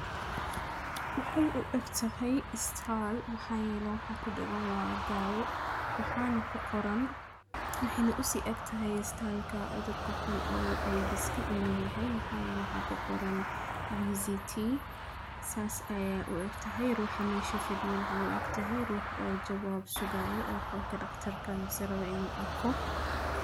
Waxay u eg tahay istaal maxaabiyeena waxa ku dhaganaa daawo. Waxaanu ku qoran waxaanu usi eg tahay istaal codurka hun oo ay dhis ka inuu yahay maxaa yeena ha ku qoran. Visiti saas ayaa u eg tahay ruuxa meesho fadiyan caw u ag tahay ruux oo jawaab sugaya oo qolka dhakhtarka misra waynu adko.